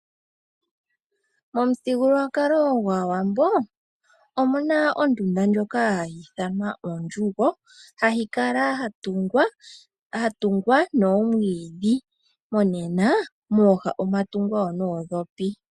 Momuthigululwakalo gwAawambo omuna ondunda ndjoka hayi ithanwa ondjugo , hayi kala yatungwa noomwiidhi nomononena mooha omwatungwa noondhopi.